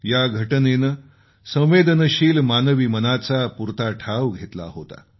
या घटनेनं संवेदनशील मानवी मनाचा पुरता ठाव घेतला होता